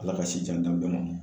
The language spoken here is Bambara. Ala ka si jan d'an bɛɛ ma